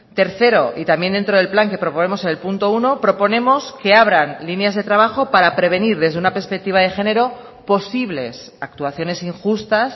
tercero y también dentro del plan que proponemos en el punto uno proponemos que abran líneas de trabajo para prevenir desde una perspectiva de género posibles actuaciones injustas